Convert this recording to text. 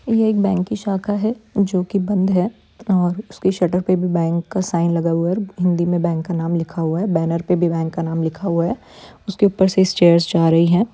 ये एक बैंक की शाखा है जो कि बंद है और उसकी शटर पे भी बैंक का साइन लगा हुआ है और हिंदी में बैंक का नाम लिखा हुआ है बैनर पे भी बैंक का नाम लिखा हुआ है उसके ऊपर से स्टेयर्स जा रही है।